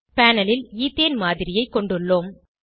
panel ல் ethane மாதிரியைக் கொண்டுள்ளோம்